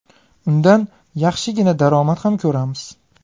Undan yaxshigina daromad ham ko‘ramiz.